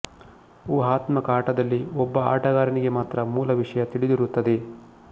ಉಹಾತ್ಮಕ ಆಟದಲ್ಲಿ ಒಬ್ಬ ಆಟಗಾರನಿಗೆ ಮಾತ್ರ ಮೂಲ ವಿಷಯ ತಿಳಿದಿರುತ್ತದೆ